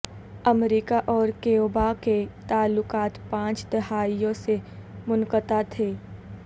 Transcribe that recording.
امریکہ اور کیوبا کے تعلقات پانچ دہائیوں سے منقطع تھے